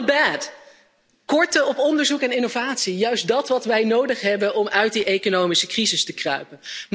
Dan, the bad korten op onderzoek en innovatie, juist datgene wat wij nodig hebben om uit de economische crisis te kruipen.